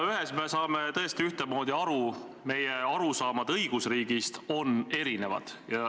Ühest asjast saame me tõesti ühtemoodi aru: meie arusaamad õigusriigist on erinevad.